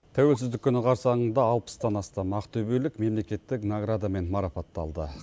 тәуелсіздік күні қарсаңында алпыстан астам ақтөбелік мемлекеттік наградамен марапатталды